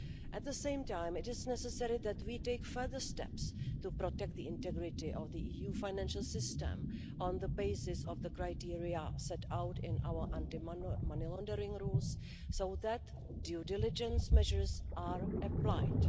At the same time, it is necessary that we take further steps to protect the integrity of the EU financial system on the basis of the criteria set out in our anti-money laundering rules so that due diligence measures are applied.